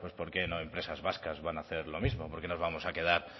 por qué no empresas vascas van a hacer lo mismo por qué nos vamos a quedar